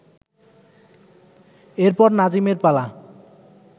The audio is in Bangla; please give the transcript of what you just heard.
এরপর নাজিমের পালা